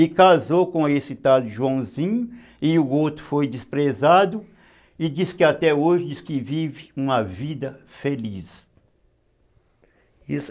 E casou com esse tal Joãozinho, e o outro foi desprezado, e diz que até hoje vive uma vida feliz.